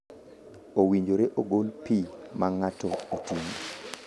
Owinjore ogol pi ma ng’ato oting’o.